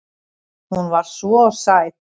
Hún var svo sæt.